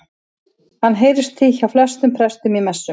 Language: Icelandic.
Hann heyrist því hjá flestum prestum í messum.